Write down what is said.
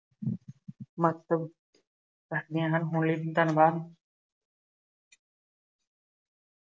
ਬੱਸ ਕਰਦੀਆਂ ਹਨ, ਹੁਣੇ ਲਈ ਧੰਨਵਾਦ।